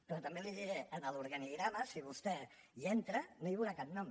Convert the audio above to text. però també li ho diré en l’organigrama si vostè hi entra no hi veurà cap nom